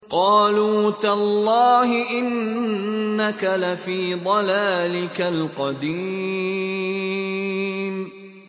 قَالُوا تَاللَّهِ إِنَّكَ لَفِي ضَلَالِكَ الْقَدِيمِ